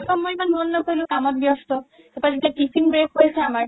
তৌ মই ইমান মন নকৰিলো কামত ব্যস্ত তাৰ পা যেতিয়া tiffin break হৈছে আমাৰ